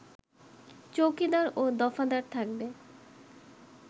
চৌকিদার ও দফাদার থাকবে